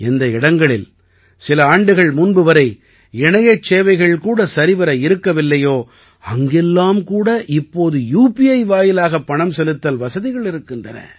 எந்த இடங்களில் சில ஆண்டுகள் முன்பு வரை இணையச் சேவைகள் கூட சரிவர இருக்கவில்லையோ அங்கெல்லாம் கூட இப்போது யூபிஐ வாயிலாகப் பணம் செலுத்தல் வசதிகள் இருக்கின்றன